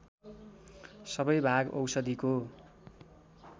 सबै भाग औषधिको